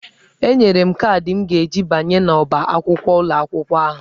Enyere m kaadị m ji abanye n'ọ́bá akwụkwọ ụlọ akwụkwọ ahụ.